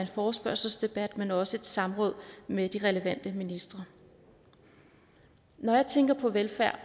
forespørgselsdebat men også i et samråd med de relevante ministre når jeg tænker på velfærd